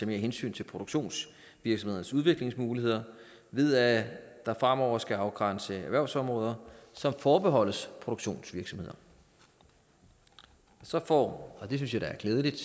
mere hensyn til produktionsvirksomhedernes udviklingsmuligheder ved at man fremover skal afgrænse erhvervsområder som forbeholdes produktionsvirksomheder så får og det synes jeg da er glædeligt